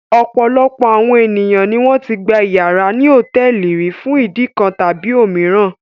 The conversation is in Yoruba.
Ọ̀pọ̀lọpọ̀ àwọn ènìyàn ni wọ́n ti gba ìyàrá ní hòtẹ́ẹ́lì rí fún ìdí kan tàbí òmíràn.